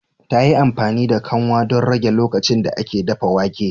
Ta yi amfani da kanwa don rage lokacin da ake dafa wake